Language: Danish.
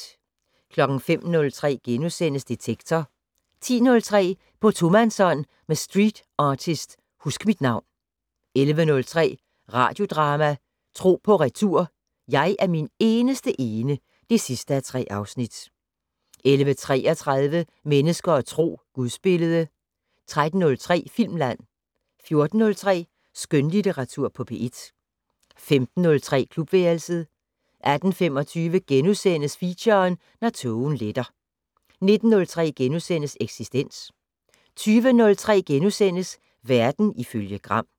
05:03: Detektor * 10:03: På tomandshånd med streetartist Huskmitnavn 11:03: Radiodrama: Tro på retur: Jeg er min eneste ene (3:3) 11:33: Mennesker og Tro: Gudsbillede 13:03: Filmland 14:03: Skønlitteratur på P1 15:03: Klubværelset 18:25: Feature: Når tågen letter * 19:03: Eksistens * 20:03: Verden ifølge Gram *